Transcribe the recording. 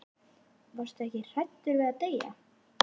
Varstu ekkert hræddur við að deyja?